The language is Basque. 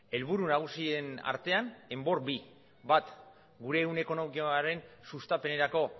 helburu nagusien artean enbor bi bat gure ehun ekonomikoaren sustapenerako